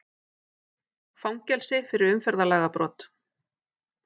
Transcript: Fangelsi fyrir umferðarlagabrot